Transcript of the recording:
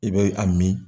I bɛ a min